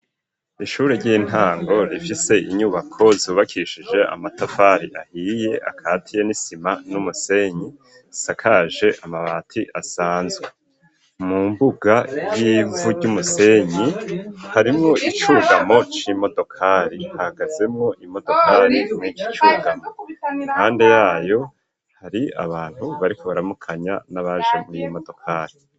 Ishuri ry'intango rifise inyubako zubakishije amatafari ahiye akatiye n'isima n'umusenyi, risakaje amabati asanzwe mu mbuga y'ivu ryumusenyi harimwo icugamo c'imodokari hahagazemwo imodokari mu ikicugamo impade yaho hari abantu bariko baramukanya n'abaje mw'iyo modokari.